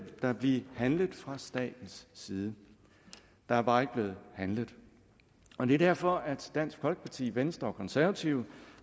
der blive handlet fra statens side der er bare ikke blevet handlet og det er derfor at dansk folkeparti venstre og konservative